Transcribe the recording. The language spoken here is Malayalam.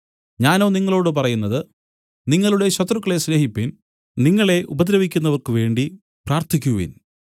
ഞാനോ നിങ്ങളോടു പറയുന്നത് നിങ്ങളുടെ ശത്രുക്കളെ സ്നേഹിപ്പിൻ നിങ്ങളെ ഉപദ്രവിക്കുന്നവർക്കുവേണ്ടി പ്രാർത്ഥിക്കുവിൻ